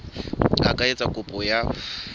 a ka etsa kopo ya